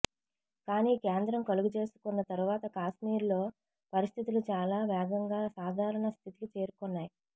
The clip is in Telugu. కానీ కేంద్రం కలుగజేసుకొన్న తరువాత కాశ్మీర్ లో పరిస్థితులు చాలా వేగంగా సాధారణ స్థితికి చేరుకొన్నాయి